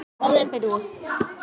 Hvað kætir þig?